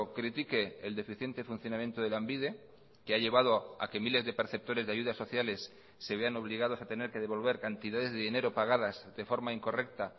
critique el deficiente funcionamiento de lanbide que ha llevado a que miles de perceptores de ayudas sociales se vean obligados a tener que devolver cantidades de dinero pagadas de forma incorrecta